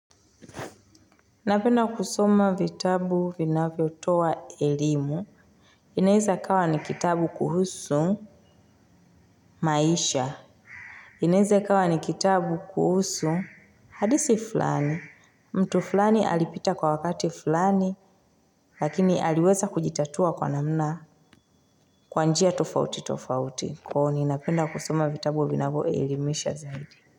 Napenda kusoma vitabu vinavyotoa elimu. Inaeza kawa ni kitabu kuhusu maisha. Inaeza kawa ni kitabu kuhusu hadisi fulani. Mtu fulani alipita kwa wakati fulani, lakini aliweza kujitatua kwa namna kwa njia tofauti tofauti. Kwa huo ni napenda kusoma vitabu vinavyo ilimisha zaidi.